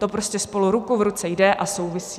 To prostě spolu ruku v ruce jde a souvisí.